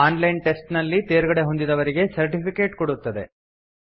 on line test ನಲ್ಲಿ ತೇರ್ಗಡೆಹೊಂದಿದವರಿಗೆ certificate ಕೊಡುತ್ತದೆ